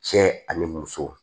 Cɛ ani muso